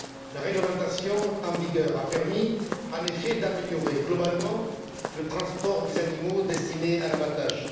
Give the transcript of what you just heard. La réglementation en vigueur a permis en effet d'améliorer globalement le transport des animaux destinés à l'abattage.